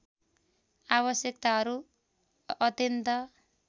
आवश्यकताहरू अत्यन्त